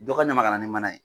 Dɔ ɲɛ n ma ka na ni mana ye.